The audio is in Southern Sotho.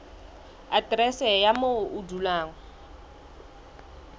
aterese ya moo o dulang